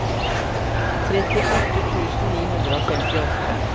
trettiåtte tusen ni hundre og femtiåtte